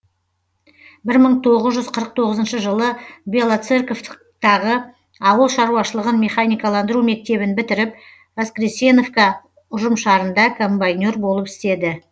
бір мың тоғыз жүз қырық тоғызыншы жылы белоцерковтағы ауыл шаруашылығын механикаландыру мектебін бітіріп воскресеновка ұжымшарында комбайнер болып істеді